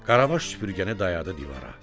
Qaravaş süpürgəni dayadı divara.